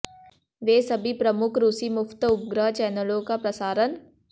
वे सभी प्रमुख रूसी मुफ्त उपग्रह चैनलों का प्रसारण